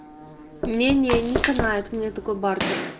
не не канает меня такой бартер